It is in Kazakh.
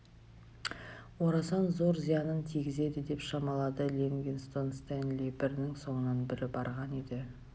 орасан зор зиянын тигізеді деп шамалады ливингстон стенли бірінің соңынан бірі барған еді